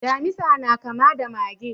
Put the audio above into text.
Damisa na kama da mage?